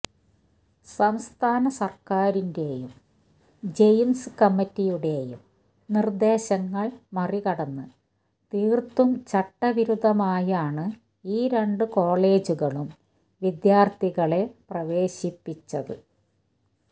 സംസ്ഥാന സർക്കാരിന്റെയും ജയിംസ് കമ്മിറ്റിയുടെയും നിർദേശങ്ങൾ മറികടന്ന് തീർത്തും ചട്ടവിരുദ്ധമായാണ് ഈ രണ്ട് കോളേജുകളും വിദ്യാർത്ഥികളെ പ്രവേശിപ്പിച്ചത്